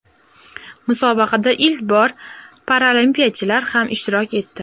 Musobaqada ilk bor paralimpiyachilar ham ishtirok etdi.